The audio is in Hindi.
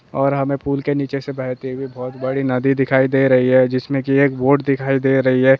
और हमें पुल के नीचे से बहती हुई बोहोत बड़ी नदी दिखाई दे रही है जिसमे की एक बोट दिखाई दे रही है।